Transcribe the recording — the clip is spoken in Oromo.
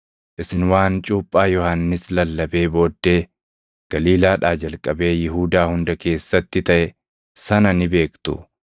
Isin waan Cuuphaa Yohannis lallabee booddee Galiilaadhaa jalqabee Yihuudaa hunda keessatti taʼe sana ni beektu.